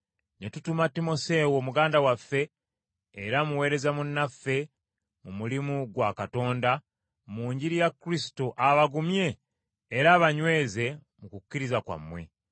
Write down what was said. Ne tutuma Timoseewo, muganda waffe era muweereza munnaffe mu mulimu gwa Katonda, mu Njiri ya Kristo, abagumye era abanyweze mu kukkiriza kwammwe,